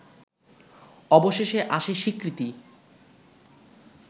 অবশেষে আসে স্বীকৃতি